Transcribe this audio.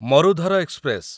Marudhar express